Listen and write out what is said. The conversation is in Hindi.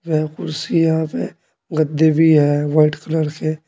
यह कुर्सी है यहां पे गद्दे भी है व्हाइट कलर के।